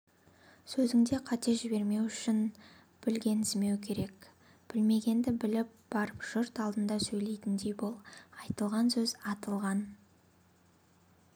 сөзіңде қате жібермеу үшін білгенсімеу керек білмегенді біліп барып жұрт алдында сөйлейтіндей бол айтылған сөз атылған